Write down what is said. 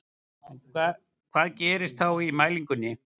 En hvað gerist þá í mælingunni?